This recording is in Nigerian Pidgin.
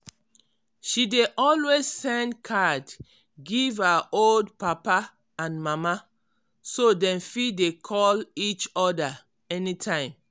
she dey always send card give her old papa and mama so dem fit dey call each oda any time.